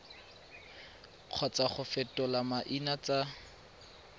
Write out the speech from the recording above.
kgotsa go fetola maina tsa